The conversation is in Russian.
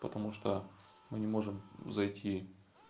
потому что мы не можем зайти